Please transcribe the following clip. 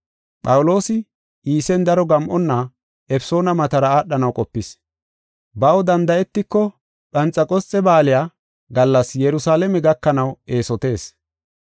Phawuloosi Iisen daro gam7onna Efesoona matara aadhanaw qopis. Baw danda7etiko Phanxeqosxe Baaliya gallas Yerusalaame gakanaw eesotees.